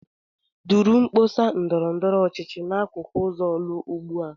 Duru mkpọsa ndọrọ ndọrọ ọchịchị n'akụkụ ụzọ Orlu ugbu a!